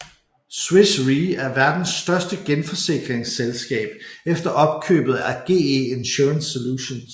Swiss Re er verdens største genforsikringsselskab efter opkøbet af GE Insurance Solutions